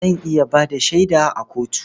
Zan iya ba da shaida a kotu.